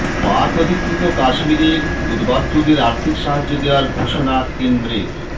পাক অধিকৃত কাশ্মীরের উদ্বাস্তুদের আর্থিক সাহায্য দেওয়ার ঘোষণা কেন্দ্রের